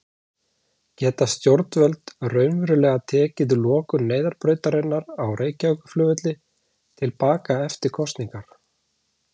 Geta stjórnvöld raunverulega tekið lokun neyðarbrautarinnar á Reykjavíkurflugvelli til baka eftir kosningar?